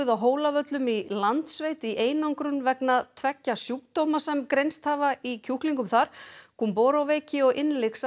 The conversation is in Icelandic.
á Hólavöllum í Landssveit í einangrun vegna tveggja sjúkdóma sem greinst hafa í kjúklingum þar gumboro veiki og innlyksa